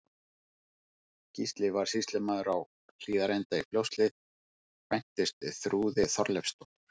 Gísli varð sýslumaður á Hlíðarenda í Fljótshlíð, kvæntist Þrúði Þorleifsdóttur.